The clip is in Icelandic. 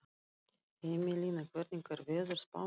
Emelína, hvernig er veðurspáin?